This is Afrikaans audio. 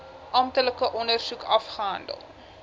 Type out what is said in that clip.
amptelike ondersoek afgehandel